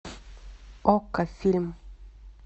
окко фильм